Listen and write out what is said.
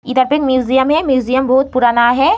इधर पे म्यूजियम है म्यूजियम बहोत पुराना है।